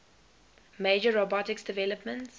major robotics developments